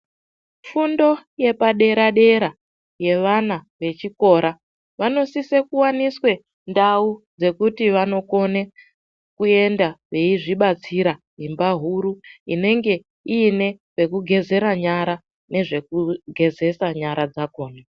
Fundo yepadera-dera yevana vechikora vanosise kuvaniswe ndau dzekuti vanokone kuenda veizvibatsira imba huru. Inenge ine pekugezera nyara, nezvekugezesa nyara dzakona.